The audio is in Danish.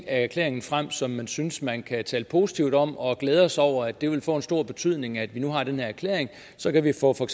af erklæringen frem som man synes man kan tale positivt om og man glæder sig over at det vil få en stor betydning at vi nu har den her erklæring så kan vi få for